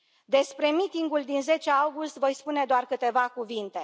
Despre mitingul din 10 august voi spune doar câteva cuvinte.